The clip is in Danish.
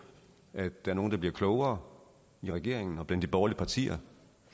at der er nogle der bliver klogere i regeringen og blandt de borgerlige partier